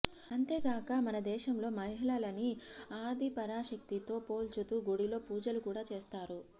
అంతే గాక మన దేశంలో మహిళలని ఆది పరాశక్తి తో పోల్చుతూ గుడిలో పూజలు కూడా చేస్తారు